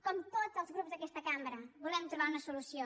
com tots els grups d’aquesta cambra volem trobar una solució